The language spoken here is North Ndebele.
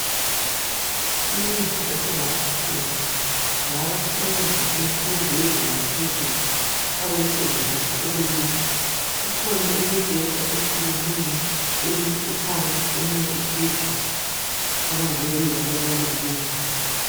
Indlu esingathi thina ngeyabafundi bemfundo yezinga laphezulu, abayisebenzisa ukulala kukhona imibheda eyehlukeneyo eminye iphansi ,eminye iphezulu abangabe kuyiiyo abalala kiyo.